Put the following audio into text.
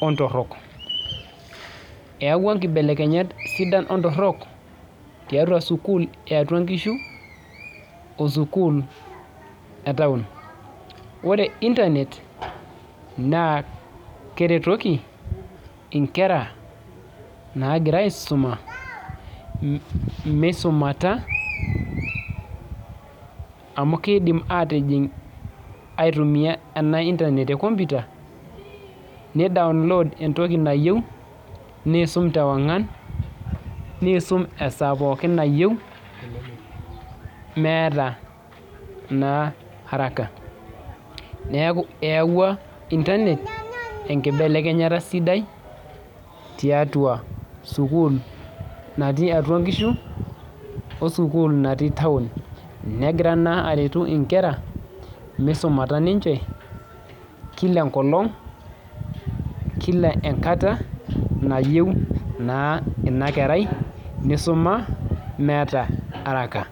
ontorrok eyawua inkibelekenyat sidan ontorrok tiatua sukuul eatua nkishu osukuul e town ore internet naa keretoki inkera nagira aisuma misumata amu keidim atijing aitumia ena internet te computer nei download entoki nayieu niisum tewang'an niisum esaa pookin nayieu meeta naa haraka neku eyawua internet enkibelekenyata sidai tiatua sukuul natii atua nkishu osukuul natii town negira naa aretu inkera misumata ninche kila enkolong kila enkata nayieu naa ina kerai nisuma meeta araka.